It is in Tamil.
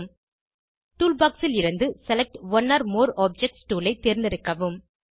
டூல் பாக்ஸ் ல் இருந்து select one or more objects toolஐ தேர்ந்தெடுக்கவும்